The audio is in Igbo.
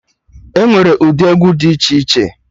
Enwere ụdị egwu dị iche iche